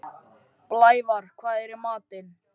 Blævar, hvað er í matinn?